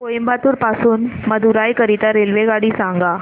कोइंबतूर पासून मदुराई करीता रेल्वेगाडी सांगा